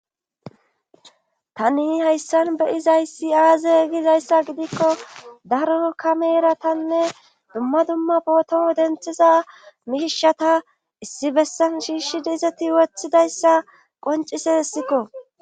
Tani hayssan be izayssi aazegizayssa gidikko daro kameera tanne dumma dumma bootoo denthiza miishata issi bessan shiishshidizati wothidayssa qoncisessikko.